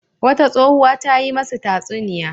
Wata tsohuwa ta yi masu tatsuniya.